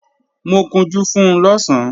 Mo kunjú fun lọ̀sán